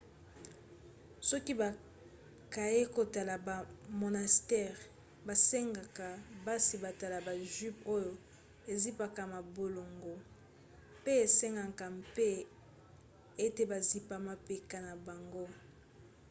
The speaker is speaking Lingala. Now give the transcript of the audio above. soki bakei kotala ba monastères basengaka basi balata ba jupes oyo ezipaka mabolongo pe esengaka mpe ete bazipa mapeka na bango